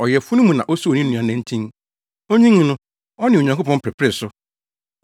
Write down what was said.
Ɔyafunu mu na osoo ne nua nantin; onyinii no, ɔne Onyankopɔn peperee so.